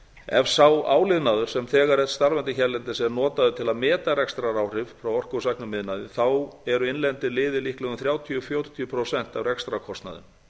ef sá áliðnaður sem þegar er starfandi hérlendis er notaður til að meta rekstraráhrif frá orkusæknum iðnaði eru innlendir liðir líklega um þrjátíu til fjörutíu prósent af rekstrarkostnaði